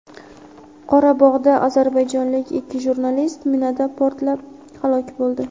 Qorabog‘da ozarbayjonlik ikki jurnalist minada portlab halok bo‘ldi.